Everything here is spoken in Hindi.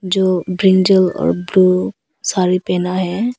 जो ब्रिंजल और ब्लू साड़ी पहना है।